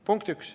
Punkt üks.